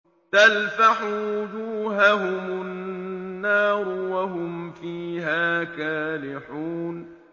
تَلْفَحُ وُجُوهَهُمُ النَّارُ وَهُمْ فِيهَا كَالِحُونَ